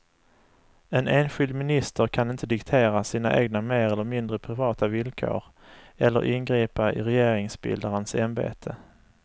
En enskild minister kan inte diktera sina egna mer eller mindre privata villkor eller ingripa i regeringsbildarens ämbete.